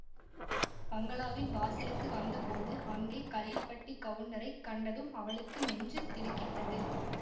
பங்களாவின் வாசலுக்கு வந்த போது அங்கே கள்ளிப்பட்டிக் கவுண்டரைக் கண்டதும் அவளுக்கு நெஞ்சு திடுக்கிட்டது